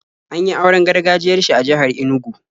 An yi auren gargajiyar shi a jihar Inugu.